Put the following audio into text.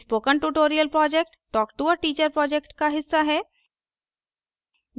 spoken tutorial project talktoa teacher project का हिस्सा है